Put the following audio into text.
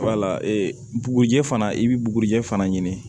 bugurijɛ fana i bi bugurijɛ fana ɲini